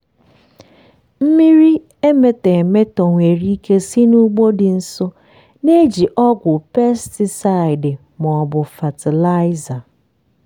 mmiri emetọ emetọ nwere ike si n'ugbo dị nso na-eji ọgwụ pesticide ma ọ bụ fatịlaịza.